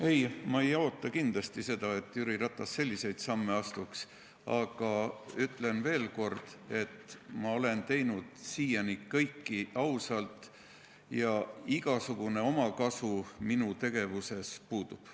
Ei, ma ei oota kindlasti seda, et Jüri Ratas selliseid samme astuks, aga ütlen veel kord: ma olen teinud siiani kõike ausalt ja igasugune omakasu minu tegevuses puudub.